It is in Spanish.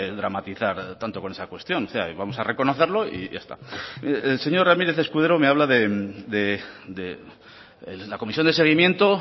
dramatizar tanto con esa cuestión y vamos a reconocerlo y ya está el señor ramírez escudero me habla de la comisión de seguimiento